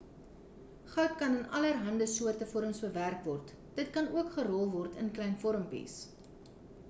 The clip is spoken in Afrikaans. goud kan in allerande soorte vorms bewerk word dit kan ook gerol word in klein vormpies